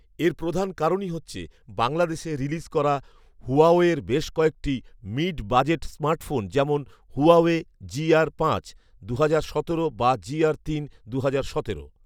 এর প্রধান কারণই হচ্ছে বাংলাদেশে রিলিজ করা হুয়াওয়ের বেশ কয়েকটি মিড বাজেট স্মার্টফোন যেমন হুয়াওয়ে জিআর পাঁচ দু'হাজার সতেরো বা জিআর তিন দু'হাজার সতেরো